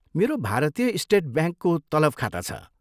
मेरो भारतीय स्टेट ब्याङ्कको तलब खाता छ।